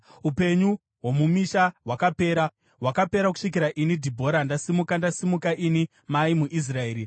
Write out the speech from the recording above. Upenyu hwomumisha hwakapera, hwakapera kusvikira ini Dhibhora, ndasimuka, ndasimuka ini mai muIsraeri.